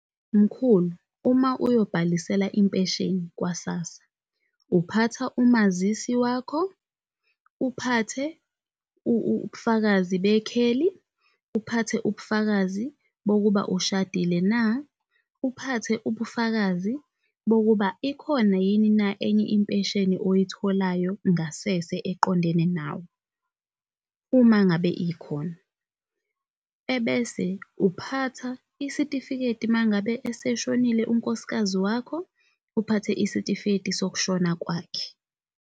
Mkhulu, uma uyobhalisela impesheni kwa-S_A_S_S_A, uphatha umazisi wakho, uphathe ubufakazi bekheli, uphathe ubufakazi bokuba ushadile na, uphathe ubufakazi bokuba ikhona yini na enye impesheni oyitholayo ngasese eqondene nawe, uma ngabe ikhona. ebese uphatha isitifiketi mangabe eseshonile unkosikazi wakho, uphathe isitifiketi sokushona kwakhe.